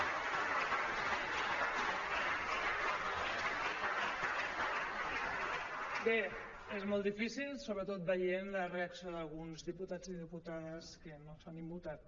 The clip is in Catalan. bé és molt difícil sobretot veient la reacció d’alguns diputats i diputades que no s’han immutat